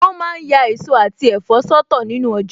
Wọn ma ń ya èso àti ẹ̀fọ́ sọ́tọ̀ nínu ọjà